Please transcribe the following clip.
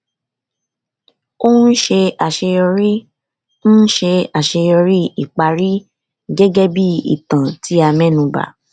ò ń ṣe àṣeyọrí ń ṣe àṣeyọrí ìparí gẹgẹ bí ìtàn tí a mẹnu bà